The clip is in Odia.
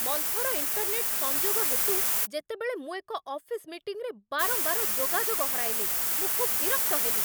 ମନ୍ଥର ଇଣ୍ଟର୍ନେଟ୍ ସଂଯୋଗ ହେତୁ ଯେତେବେଳେ ମୁଁ ଏକ ଅଫିସ୍ ମିଟିଂରେ ବାରମ୍ବାର ଯୋଗାଯୋଗ ହରାଇଲି, ମୁଁ ଖୁବ୍ ବିରକ୍ତ ହେଲି